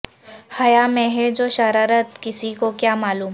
حیا میں ہے جو شرارت کسی کو کیا معلوم